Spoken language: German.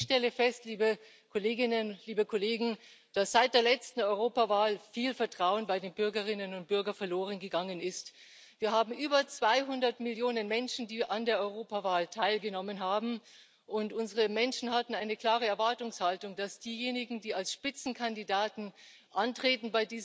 Ich stelle fest, dass seit der letzten Europawahl viel Vertrauen bei den Bürgerinnen und Bürgern verloren gegangen ist. Wir haben über 200 Millionen Menschen, die an der Europawahl teilgenommen haben, und unsere Menschen hatten eine klare Erwartungshaltung, dass diejenigen, die bei dieser Europawahl als Spitzenkandidaten antreten,